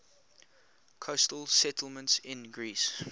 coastal settlements in greece